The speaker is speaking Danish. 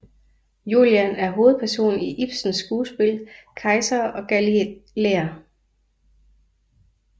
Julian er hovedperson i Ibsens skuespil Kejser og galilæer